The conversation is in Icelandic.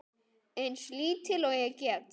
Eins lítil og ég get.